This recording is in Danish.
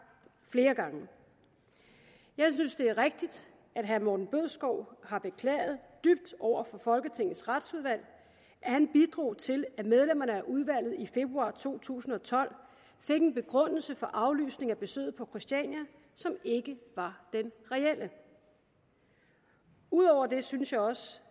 flere gange jeg synes det er rigtigt at herre morten bødskov har beklaget dybt over for folketingets retsudvalg at han bidrog til at medlemmerne af udvalget i februar to tusind og tolv fik en begrundelse for aflysningen af besøget på christiania som ikke var den reelle ud over det synes jeg også